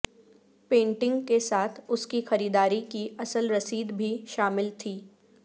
painting کے ساتھ اس کی خریداری کی اصل رسید بھی شامل تھی